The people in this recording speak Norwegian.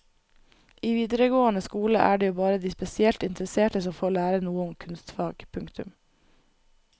I videregående skole er det jo bare de spesielt interesserte som får lære noe om kunstfag. punktum